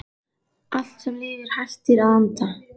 Allt sem lifir hættir að anda.